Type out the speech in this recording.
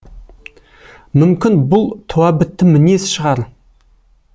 мүмкін бұл туабітті мінез шығар